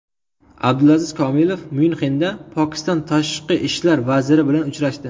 Abdulaziz Komilov Myunxenda Pokiston tashqi ishlar vaziri bilan uchrashdi.